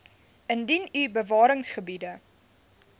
indien u bewaringsgebiede